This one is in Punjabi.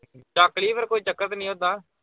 ਚੱਕ ਲੀ ਫਿਰ ਕੋਈ ਚੱਕਰ ਤੇ ਨੀ ਓਦਾਂ।